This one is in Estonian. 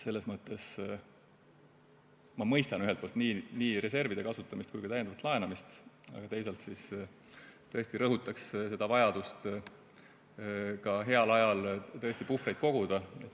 Selles mõttes ma mõistan ühelt poolt nii reservide kasutamist kui ka täiendavat laenamist, aga teisalt tõesti rõhutaks vajadust heal ajal puhvreid koguda.